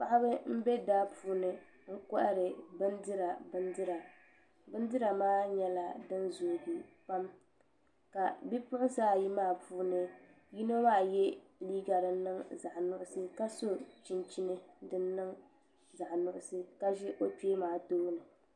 Paɣaba n bɛ daa puuni n kohari bindira bindira bindira maa nyɛla din zoogi pam ka bipuɣunsi ayi maa puuni yino maa yɛ liiga din niŋ zaɣ nuɣso ka so chinchini din niŋ zaɣ nuɣso ka ʒi o kpee maa tooni